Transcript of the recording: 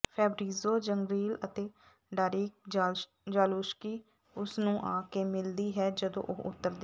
Fabrizio Zangrilli ਅਤੇ Darek Zaluski ਉਸ ਨੂੰ ਆ ਕੇ ਮਿਲਦੀ ਹੈ ਜਦੋਂ ਉਹ ਉਤਰਦੀ ਹੈ